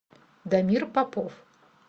дамир попов